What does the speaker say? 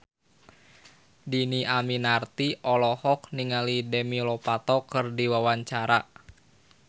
Dhini Aminarti olohok ningali Demi Lovato keur diwawancara